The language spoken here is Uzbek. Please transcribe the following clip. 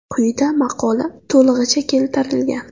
Quyida maqola to‘lig‘icha keltirilgan.